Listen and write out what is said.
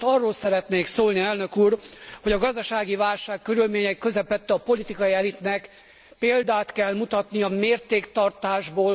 Most arról szeretnék szólni, Elnök úr, hogy a gazdasági válság körülményei közepette a politikai elitnek példát kell mutatnia mértéktartásból.